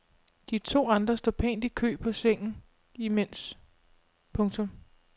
De to andre står pænt i kø på sengen imens. punktum